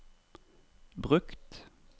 brukt